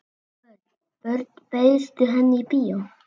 Örn, bauðstu henni í bíó?